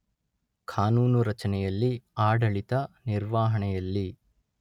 ಕಾನೂನು ರಚನೆಯಲ್ಲಿ ಆಡಳಿತ ನಿರ್ವಹಣೆಯಲ್ಲಿ